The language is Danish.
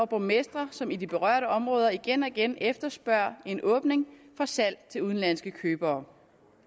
borgmestre som i de berørte områder igen og igen efterspørger en åbning salg til udenlandske købere